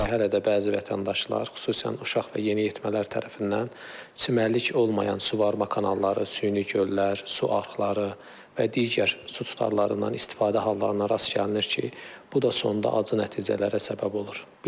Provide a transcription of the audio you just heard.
Hələ də bəzi vətəndaşlar, xüsusən uşaq və yeniyetmələr tərəfindən çimərlik olmayan suvarma kanalları, süni göllər, su arxları və digər su tutarlarından istifadə hallarına rast gəlinir ki, bu da sonda acı nəticələrə səbəb olur.